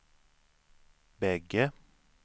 bägge